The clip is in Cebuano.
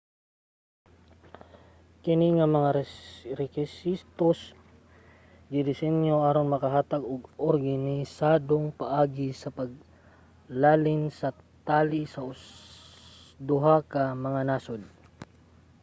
kini nga mga rekisitos gidesinyo aron makahatag og organisadong paagi sa paglalin tali sa duha ka mga nasod